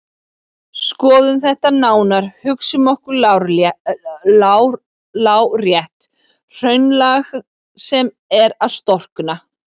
Skoðum þetta nánar: Hugsum okkur lárétt hraunlag sem er að storkna.